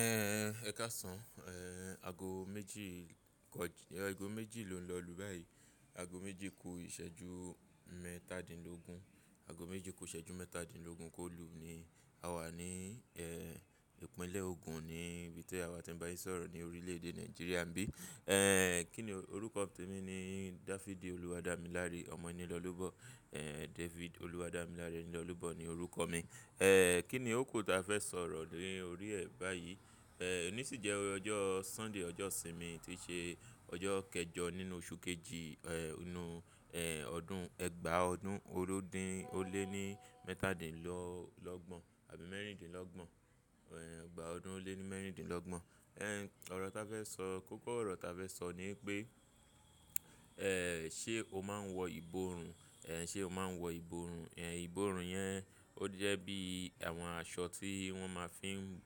Ẹ káàsán, aago méjì kọji-- aago méjì ló ń lọlù báyìí. Aago méjì kó ìṣẹ́jú mẹ́tàdínlógún. Aago méjì kó ìṣẹ́jú mẹ́tàdínlógún kó lu ni a wà ní, ẹ́, ìpínlẹ̀ Ogun ni ibi tí àwa ti ń bá yín sọ̀rọ̀ ni orílẹ̀ èdè Nàìjíríà n bí. Ẹ́, kíni orúkọ mi ni David Oluwadamilare Ọmọnílolúbọ, David Oluwadamilare Ẹniolúbọ ni orúkọ mi. Ẹ́, kíni ó ku ta fẹ́ sọ̀rọ̀ lórí ẹ̀ báyìí? Ẹ́, òní sì jẹ́ ọjọ́ Sunday, ọjọ́ ìsinmi tí ṣe ọjọ́ kẹjọ nínú oṣù kejì, ẹ́, inú ọdún ẹgbàá ọdún olórin ó lé ní mẹ́tàdínlọ́gbọ̀n àbí mẹ́rìndínlọ́gbọ̀n. Ẹ́, ẹgbàá ọdún ó lé ní mẹ́rìndínlọ́gbọ̀n. Ẹ́, ọ̀rọ̀ ta fẹ́ sọ, kókó ọ̀rọ̀ ta fẹ́ sọ ni pé, ẹ́, ṣe o máa ń wọ ìbòrùn? Ẹ̀, ṣe o máa ń wọ ìbòrùn? Ẹ̀, ìbòrùn yẹn ó jẹ́ bí àwọn aṣọ tí wọ́n ma fi ń,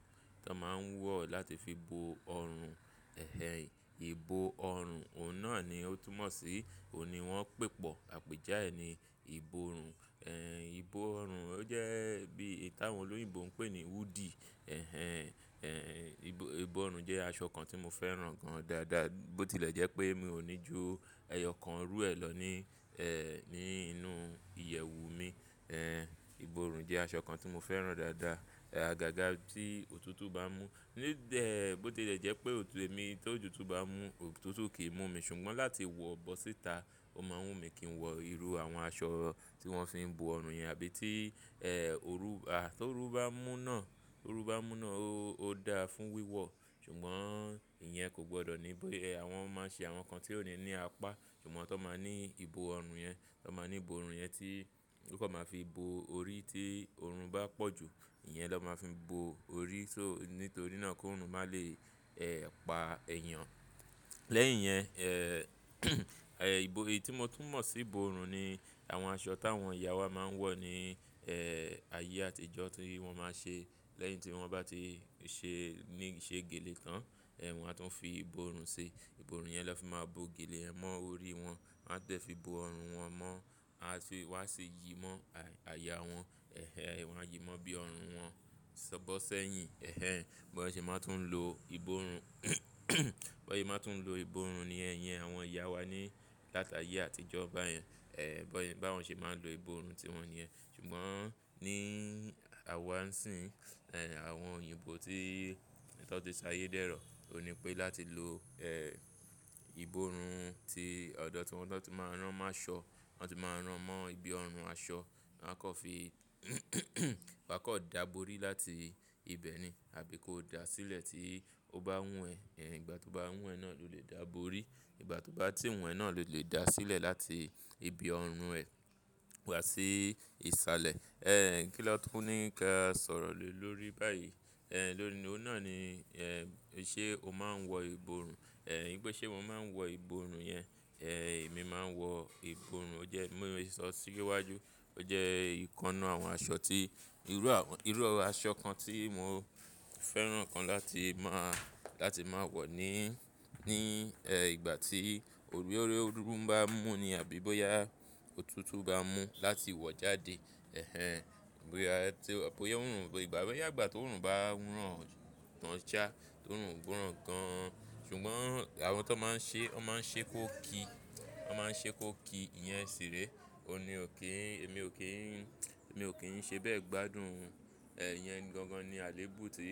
tí wọ́n ma ń wọ̀ láti fi bo ọrùn. Ẹ̀hẹn, ìbo ọrùn, ọ̀nà ni ó túmọ̀ sí, òní wọ́n pẹ̀pọ̀, àpèja ẹ ni ìbòrùn. Ẹ̀, ìbo ọrùn ó jẹ́ bí ìta àwọn olóyìnbó ń pè ní wúdì. Ẹ̀hẹn, ẹ́, ìbò ọrùn jẹ́ aṣọ kan tí mo fẹ́ràn gan dàada. Bó tí lè jẹ́ pé mi ò ní ju ẹyọ kan irú ẹ lọ ní, ẹ́, ní inú ìyẹ̀wù mi. Ẹ̀, ìbòrùn jẹ́ aṣọ kan tí mo fẹ́ràn dàada. Ẹ̀, àgàgà tí òtútù bá mú, ní dẹ́, bó tí lè jẹ́ pé èmi tó ju tú bá mú, òtútù kì í mú mi ṣùgbọ́n láti wọ̀ bọ́ síta, ó máa ń wù mí kí n wọ irú àwọn aṣọ tí wọ́n fi ń bo ọrùn yẹn àbí tí, ẹ́, òru, a, tó ru bá mú náà, tó ru bá mú náà ó, ó dáa fún wíwọ̀. Ṣùgbọ́n ìyẹn kò gbọdọ̀ ní bó ẹ, àwọn máa ń ṣe àwọn kan tí ò ní ní apá. Ṣùgbọ́n tó máa ní ìbo ọrùn yẹn, tó máa ní ìbò ọrùn yẹn tí ó kọ́ máa fi bo orí tí ọrùn bá pọ̀ ju, ìyẹn ló máa fi bo orí. Só-- nítorí náà kó ọrùn máa le, ẹ́, pa èèyàn. Lẹ́yìn yẹn, ẹ́, èyí tí mo tún mọ̀ sí ìbò ọrùn ni àwọn aṣọ táwọn ìyá wa máa ń wọ̀ ní, ẹ́, ayé àtijọ́ tí wọ́n máa ṣe. Lẹ́yìn tí wọ́n bá ti ṣe, ní ṣe gèlè tan, ẹ̀, wọ́n máa tún fi ìbò ọrùn ṣi. Ìbò ọrùn yẹn ló fi máa bo gèlè mọ́ orí wọn. Wọ́n dẹ̀ fi bo ọrùn wọn mọ́. Aso yii wá ṣi yìí mọ́ àyà wọn. Ẹ̀hẹn, wọ́n á yìí mọ́ bí ọrùn wọn ṣọ̀bọ̀ sẹ́yìn. Ẹ̀hẹn, bóyá ṣe máa tún lo ìbòrùn, bóyá ẹ máa tún lo ìbòrùn niyẹn iyen àwọn ìyá wa ní láti ayé àtijọ́ báyẹn. Ẹ̀, báwọn ṣe máa ń lo ìbòrùn tí wọn ni yẹn. Ṣùgbọ́n ní àwa ń sìn, ẹ́, àwọn òyìnbó tí tọ́ ti ṣayé dẹ́rọ̀, ó ní pé láti lo, ẹ́, ìbòrùn ti ọ̀dọ̀ tí wọn tó tún máa rán máṣọ, wọ́n tún máa rán mọ́ ibi ọrùn aṣọ. Wọn kọ́ fi, wọ́n kọ́ dààbòrí láti ibẹ̀ ni. Àbí kó da sílẹ̀ tí ó bá wù ẹ́. Ẹ̀, ìgbà tí ó bá wù ẹ́ náà lo lè dààbòrí. Ìgbà tó bá tí wù ẹ́ náà lo lè da sílẹ̀ láti ibi ọrùn ẹ wá sí ìsàlẹ̀. Ẹ́, kí ló tún ní ká sọ̀rọ̀ ló lórí báyìí? Ẹ̀, lónìí, òun náà ni, ẹ́, ṣe o máa ń wọ ìbòrùn? Ẹ̀, igbẹ́ ṣe mo máa ń wọ ìbòrùn yẹn. Ẹ̀, èmi máa ń wọ ìbò ọrùn ó jẹ́, bii mo se sọ síwájú, ó jẹ́ ìkan nu àwọn aṣọ tí, irú àwọn, irú aṣọ kan tí mo fẹ́ràn kan láti máa, láti máa wọ̀ ní, ní, ẹ́, ìgbà tí orí, orí òrún bá mú ni. Àbí bóyá òtútù bá mú láti wọ̀ jáde. Ẹ̀hẹn, bóyá tí, bóyá òrùn, ìbà bí òyàgbà tó òrùn bá ràn tán shá, tó ò rún gbọ́rọ̀ gan. Ṣùgbọ́n àwọn tó máa ń ṣe, wọ́n máa ń ṣe kó ki. Wọ́n máa ń ṣe kó ki, ìyẹn ṣìré. O ni ò kí n, èmi ò kí n, èmi ò kín ń ṣe bẹ́ẹ̀ gbádùn. Ẹ̀, ìyẹn gangan ni àléébù tí,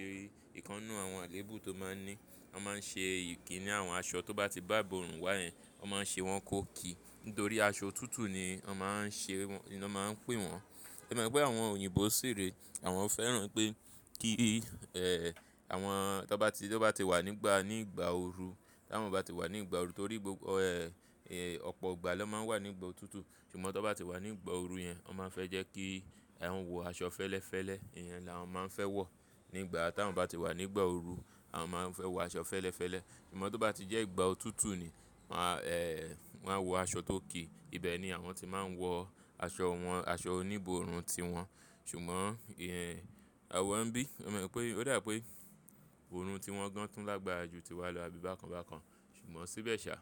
ìkannú àwọn àléébù tó máa ń ní. Wọ́n máa ń ṣe yìí kí ni àwọn aṣọ tó bá ti bá ìbò ọrùn wá yẹn, wọ́n máa ń ṣe wọn kó ki. Nítorí aṣọ òtútù ni wọ́n máa ń ṣe wọn, ni wọ́n máa ń pè wọ́n. Ẹ mo pé àwọn òyìnbó ṣìré, àwọn fẹ́ràn pé kí, ẹ́, àwọn tó bá ti, tó bá ti wà nígbà, ní ìgbà ooru, tó àwọn bá ti wà ní ìgbà ooru, torí gbogbo, ẹ́, ọ̀pọ̀ ìgbà ló máa ń wà nígbà òtútù. Ṣùgbọ́n tó bá ti wà ní ìgbà ooru yẹn, wọ́n máa ń fẹ́ jẹ́ kí àwọn wọ aṣọ fẹ́lẹ́fẹ́lẹ́. Ìyẹn làwọn máa ń fẹ́ wọ̀. Ní ìgbà táwọn bá ti wà nígbà ooru, àwọn máa ń fẹ́ wọ aṣọ fẹ́lẹ́fẹ́lẹ́. Ṣùgbọ́n tó bá ti jẹ́ ìgbà òtútù ni, máa, ẹ́, wọ́n á wọ aṣọ tó ki. Ìbẹ̀ ni àwọn ti máa ń wọ aṣọ wọn, aṣọ oní ìbòrùn tiwọn. Ṣùgbọ́n ìyẹn, àwa ń bí, o mọ pé, ó dà pé ọrùn tí wọ́n gan tún lágbára ju tiwa lọ àbí bákan bákan. Ṣùgbọ́n síbẹ̀ ṣà,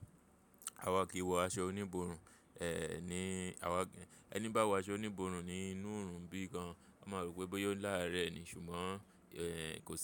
àwa kì í wọ aṣọ oní ìbò ọrùn. Ẹ̀, ní àwa gé, ẹni bá wọ aṣọ oní ìbòrùn ní inú oòrùn bí gan, won máa rò pé bóyá ó láàárẹ̀ ni. Ṣùgbọ́n, ẹ́, kò yẹ.